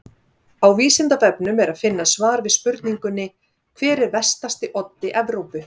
Á Vísindavefnum er að finna svar við spurningunni Hver er vestasti oddi Evrópu?